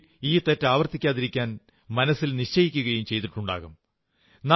മേലിൽ ഈ തെറ്റ് ആവർത്തിക്കാതിരിക്കാൻ മനസ്സിൽ നിശ്ചയിക്കയും ചെയ്തിട്ടുണ്ടാകും